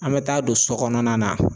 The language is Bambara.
An be taa don so kɔnɔna na.